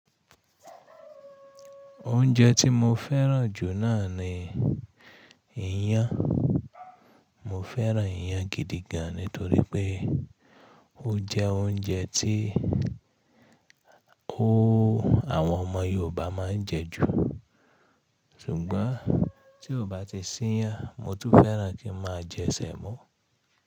Oúnjẹ tí mo fẹ́ràn jù náà ni ìyàn. Mo fẹ́ràn ìyàn gidi gan nítorí pé ó jẹ́ oúnjẹ tí ó, àwọn ọmọ Yorùbá máa ń jẹ jù. Sùgbọ́n tí ó bá ti ṣí ìyàn, mo tún fẹ́ràn kí n máa jẹ sẹ̀mọ́.